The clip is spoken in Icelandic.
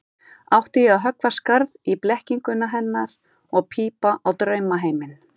Átti ég að höggva skarð í blekkingu hennar og pípa á draumaheiminn?